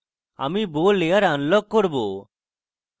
এখন আমি bow layer unlock করব